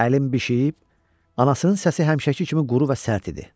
Əlim bişiyib, anasının səsi həmişəki kimi quru və sərt idi.